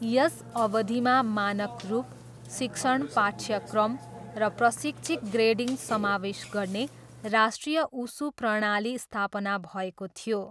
यस अवधिमा, मानक रूप, शिक्षण पाठ्यक्रम, र प्रशिक्षक ग्रेडिङ समावेश गर्ने राष्ट्रिय उसु प्रणाली स्थापना भएको थियो।